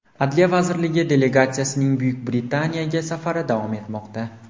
Adliya vazirligi delegatsiyasining Buyuk Britaniyaga safari davom etmoqda.